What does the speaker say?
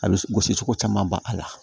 A bɛ gosi cogo caman ban a la